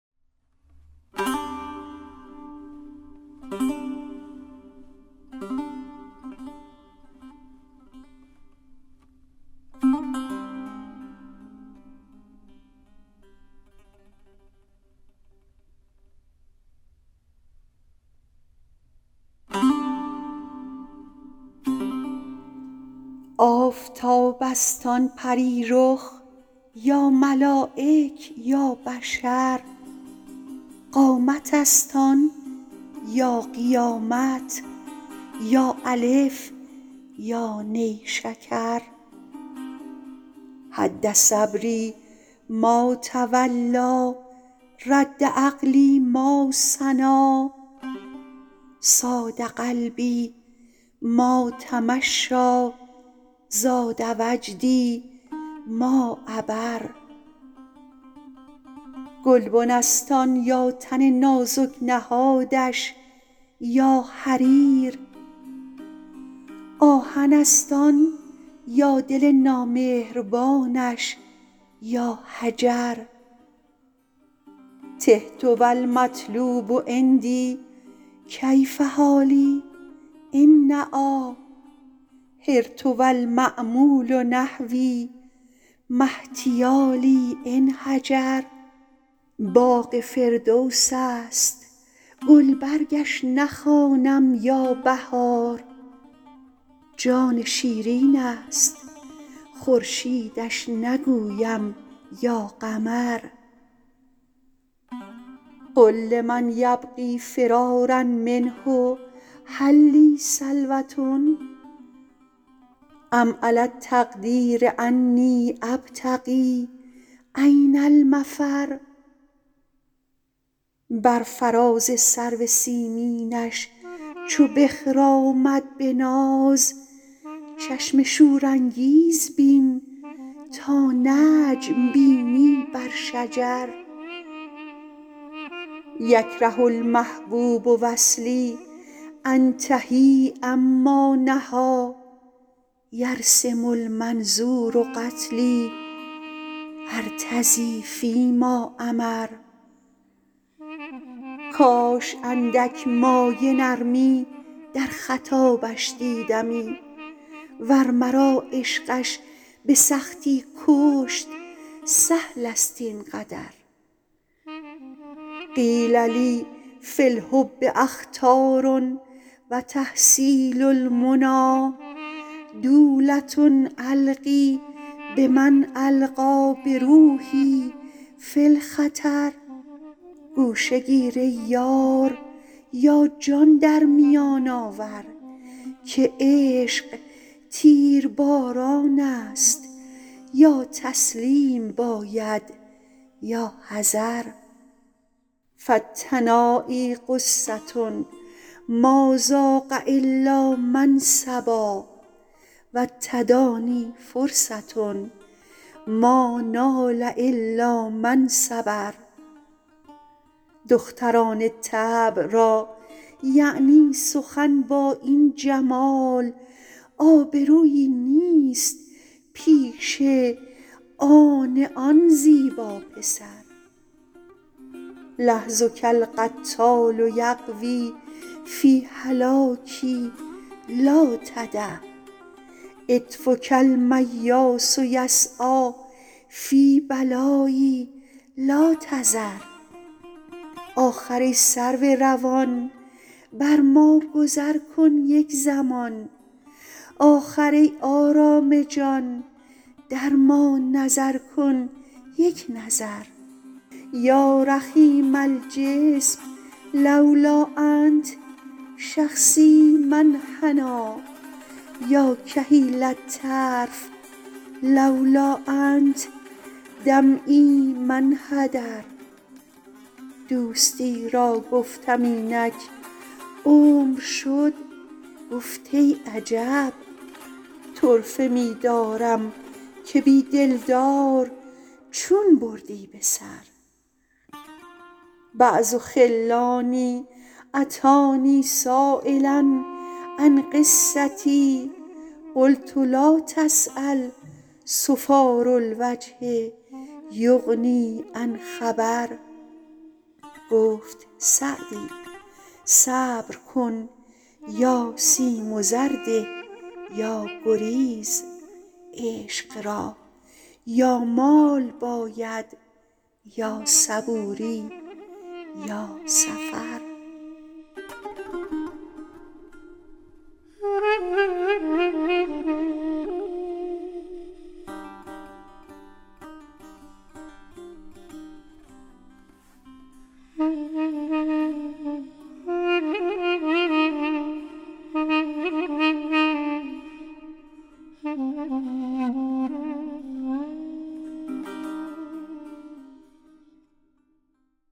آفتاب است آن پری رخ یا ملایک یا بشر قامت است آن یا قیامت یا الف یا نیشکر هد صبری ما تولیٰ رد عقلی ما ثنیٰ صاد قلبی ما تمشیٰ زاد وجدی ما عبر گلبن است آن یا تن نازک نهادش یا حریر آهن است آن یا دل نامهربانش یا حجر تهت و المطلوب عندی کیف حالی إن نأیٰ حرت و المأمول نحوی ما احتیالی إن هجر باغ فردوس است گلبرگش نخوانم یا بهار جان شیرین است خورشیدش نگویم یا قمر قل لمن یبغی فرارا منه هل لی سلوة أم علی التقدیر أنی أبتغي أین المفر بر فراز سرو سیمینش چو بخرامد به ناز چشم شورانگیز بین تا نجم بینی بر شجر یکره المحبوب وصلی أنتهي عما نهیٰ یرسم المنظور قتلی أرتضی فی ما أمر کاش اندک مایه نرمی در خطابش دیدمی ور مرا عشقش به سختی کشت سهل است این قدر قیل لی فی الحب أخطار و تحصیل المنیٰ دولة ألقی بمن ألقیٰ بروحی فی الخطر گوشه گیر ای یار یا جان در میان آور که عشق تیرباران است یا تسلیم باید یا حذر فالتنایی غصة ما ذاق إلا من صبا و التدانی فرصة ما نال إلا من صبر دختران طبع را یعنی سخن با این جمال آبرویی نیست پیش آن آن زیبا پسر لحظک القتال یغوی فی هلاکی لا تدع عطفک المیاس یسعیٰ فی بلایی لا تذر آخر ای سرو روان بر ما گذر کن یک زمان آخر ای آرام جان در ما نظر کن یک نظر یا رخیم الجسم لولا أنت شخصی ما انحنیٰ یا کحیل الطرف لولا أنت دمعی ما انحدر دوستی را گفتم اینک عمر شد گفت ای عجب طرفه می دارم که بی دلدار چون بردی به سر بعض خلانی أتانی سایلا عن قصتی قلت لا تسأل صفار الوجه یغنی عن خبر گفت سعدی صبر کن یا سیم و زر ده یا گریز عشق را یا مال باید یا صبوری یا سفر